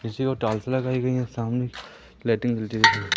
किसी को टाइल्स लगाई सामने लाइटिंग जलती हुई--